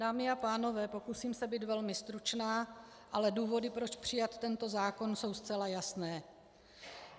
Dámy a pánové, pokusím se být velmi stručná, ale důvody, proč přijmout tento zákon, jsou zcela jasné.